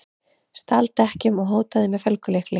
Stal dekkjum og hótaði með felgulykli